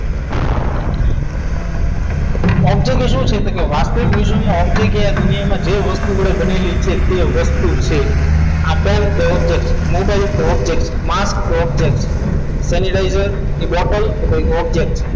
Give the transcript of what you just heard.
object સિદ્ધ કહેવાય વાક્યનો object દુનિયામાં જે વસ્તુ કરેલી છે તે વસ્તુ છે આ પણ પ્રોજેક્ટ